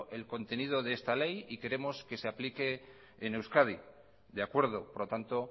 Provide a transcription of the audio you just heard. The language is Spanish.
el contenido de esa ley y queremos que se aplique en euskadi de acuerdo por lo tanto